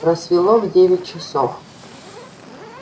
рассвело в девять часов